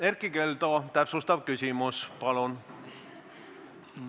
Erkki Keldo, täpsustav küsimus, palun!